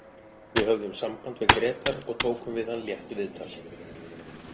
Við höfðum samband við Grétar og tókum við hann létt viðtal.